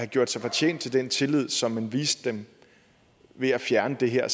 gjort sig fortjent til den tillid som man viste dem ved at fjerne det her